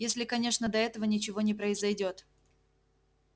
если конечно до этого ничего не произойдёт